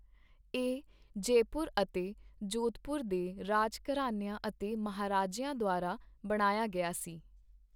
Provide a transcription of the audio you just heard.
ਇਹ ਜੈਪੁਰ ਅਤੇ ਜੋਧਪੁਰ ਦੇ ਰਾਜਘਰਾਨਿਆਂ ਅਤੇ ਮਹਾਰਾਜਿਆਂ ਦੁਆਰਾ ਬਣਾਇਆ ਗਿਆ ਸੀ।